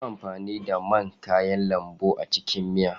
Yi amfani da man kayan lambu a cikin miya!